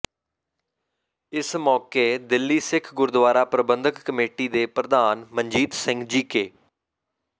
ਇਸ ਮੌਕੇ ਦਿੱਲੀ ਸਿੱਖ ਗੁਰਦੁਆਰਾ ਪ੍ਰਬੰਧਕ ਕਮੇਟੀ ਦੇ ਪ੍ਰਧਾਨ ਮਨਜੀਤ ਸਿੰਘ ਜੀਕੇ